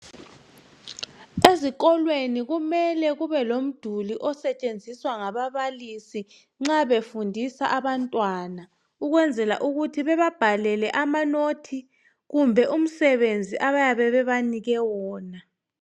Ezikolweni kumele kube lomduli osetshenziswa ngababalisi nxa befundisa abantwana ukwenzela ukuthi bababhalele amanothi kumbe umsebenzi abayabe benikwe wona